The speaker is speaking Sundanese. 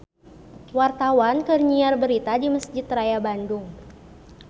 Wartawan keur nyiar berita di Mesjid Raya Bandung